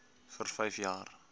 vir vyf jaar